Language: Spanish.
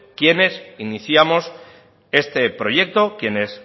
quienes iniciamos este proyecto quienes